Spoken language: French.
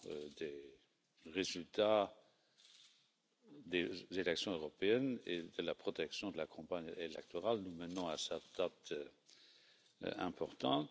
des résultats des élections européennes et de la protection de la campagne électorale nous menant à cette date importante.